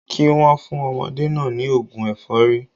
Kí wọ́n fún ọmọdé náà ní ògùn ẹ̀fọ́rí